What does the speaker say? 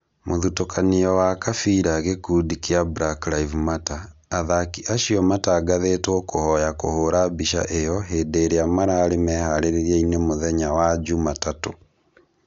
Mũthutũkanio wa kabira gĩkundi kĩa #BlackLiveMatter, "athaki acio matangathĩtwo kũhoya kũhũra mbica ĩyo hĩndĩ ĩrĩa mararĩ meharĩria-inĩ mũthenya wa juma tatũ